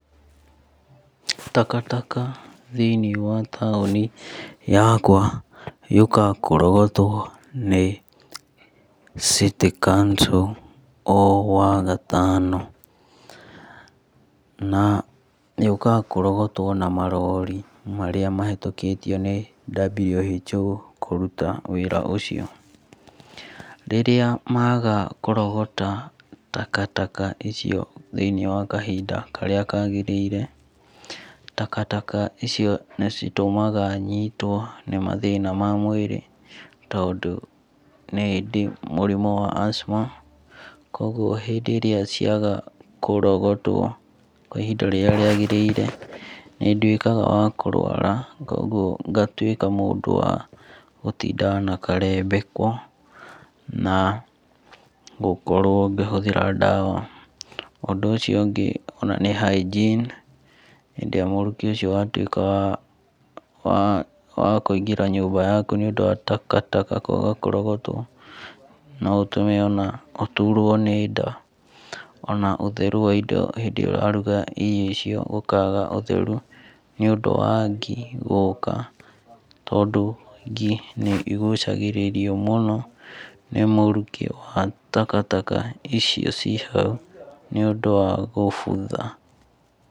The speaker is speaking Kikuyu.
Takataka thĩ~inĩ wa taũni yakwa yũkaga kũrogotwo nĩ city council o wagatano. Na yũkaga kũrogotwo na marori marĩa mahĩtũkĩtio nĩ WHO kũruta wĩra ũcio. Rirĩa maga kũrogota takataka ico thĩ~inĩ wa kahinda karĩa kagĩrĩire, takataka icio nĩ citũmaga nyitwo nĩ mathĩna ma mwĩrĩ tondũ nĩndĩ mũrimu wa Asthma kogwo hĩndĩ ĩrĩa ciaga kũrogotwo kwa ihinda rĩrĩa rĩagĩrĩire ni nduĩkaga wakũruara kogwo ngatuĩka mũndũ wa gũtindaga na karembeko na gũkorwo ngĩhũthĩra ndawa. Ũndũ ũcio ũngĩ ni hygiene hĩndĩ ĩrĩa mũrukĩ ũcio watuĩka wakũingĩra nyũmba yaku nĩ ũndũ wa takataka kwaga kũrogotwo no ũtũme ona ũturwo nĩ nda. Ona ũtheru wa indo hĩndĩ ĩrĩa ũraruga irio icio gũkaga ũtheru nĩ ũndũ wa ngi gũka. Tondũ ngi nĩ igucagĩririo mũno nĩ mũrukĩ wa takataka icio ciĩ hau nĩ ũndũ wa gũbutha.